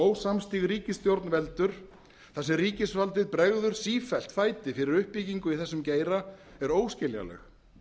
ósamstiga ríkisstjórn veldur þar sem ríkisvaldið bregður sífellt fæti fyrir uppbyggingu í þessum geira er óskiljanleg